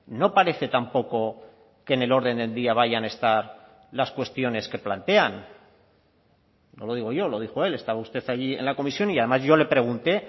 no parece tampoco que en el orden del día vayan a estar las cuestiones que plantean no lo digo yo lo dijo él estaba usted allí en la comisión y además yo le pregunté